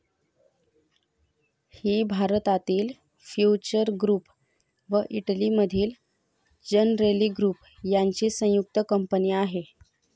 ही भारतातील future group व इटलीमधील जनरेली ग्रूप यांची संयुक्त कंपनी आहे.